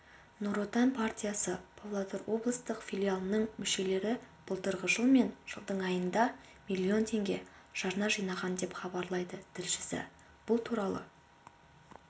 нұр отан партиясы павлодар облыстық филиалының мүшелері былтырғы жыл мен жылдың айында миллион теңге жарна жинаған деп хабарлайды тілшісі бұл туралы